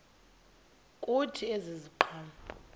kuthi ezi ziqhamo